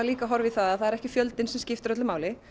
að horfa á það að það er ekki fjöldinn sem skiptir máli